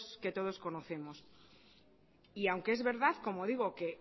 que todos conocemos y aunque es verdad como digo que